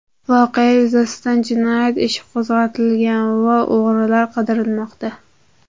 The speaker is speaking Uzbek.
Voqea yuzasidan jinoyat ishi qo‘zg‘atilgan va o‘g‘rilar qidirilmoqda.